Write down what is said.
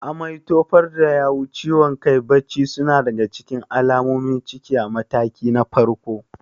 Amai, tofar da yawu, ciwon kai, bacci suna daga cikin alamomin ciki a mataki na farko.